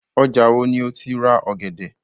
Ọjà wo ni o ti rà ọ̀gẹ̀dẹ̀?